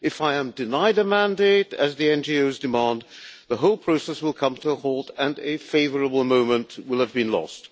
If I am denied a mandate, as the NGOs are demanding, the whole process will come to a halt and a favourable moment will have been lost.